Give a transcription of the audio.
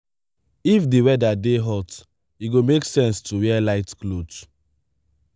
if di weather dey hot e go make sense to wear light cloth